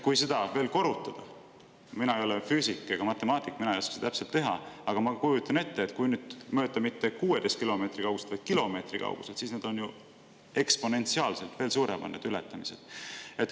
Mina ei ole füüsik ega matemaatik, mina ei oska seda täpselt teha, aga ma kujutan ette, et kui mõõta mitte 16 kilomeetri kauguselt, vaid kilomeetri kauguselt, siis need ületamised on ju eksponentsiaalselt veel suuremad.